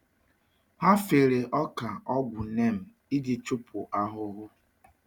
Ha fere ọka ọgwụ neem iji chụpụ anụhụhụ.